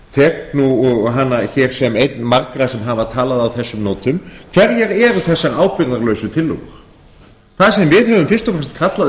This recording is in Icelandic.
tek nú hana hér sem einn margra sem hafa talað á þessum nótum hverjar eru þessar ábyrgðarlausu tillögur það sem við höfum fyrst og fremst kallað